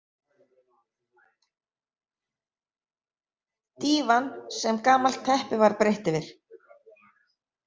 Dívan sem gamalt teppi var breitt yfir.